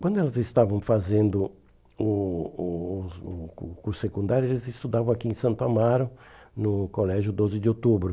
Quando elas estavam fazendo o o o curso secundário, eles estudavam aqui em Santo Amaro, no Colégio doze de Outubro.